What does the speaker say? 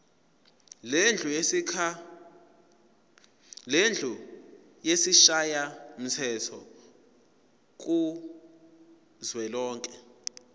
lendlu yesishayamthetho kuzwelonke